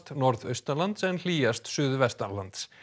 norðaustanlands en hlýjast suðvestanlands